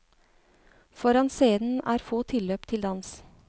Foran scenen er få tilløp til dans.